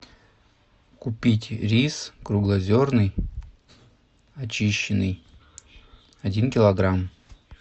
купить рис круглозерный очищенный один килограмм